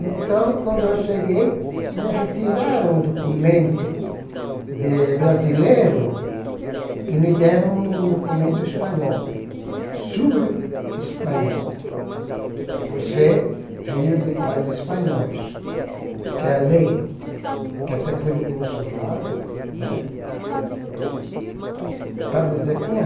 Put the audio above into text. Então, quando eu cheguei, me retiraram o documento de brasileiro e me deram um documento espanhol, sobre o espanhol, por ser filho de pais espanhóis, que é a lei, que até fui no consulado né para dizer como é.